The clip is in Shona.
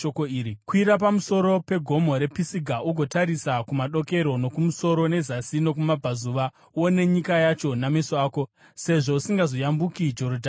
Kwira pamusoro pegomo rePisiga ugotarisa kumadokero nokumusoro nezasi nokumabvazuva, uone nyika yacho nameso ako, sezvo usingazoyambuki Jorodhani urwu.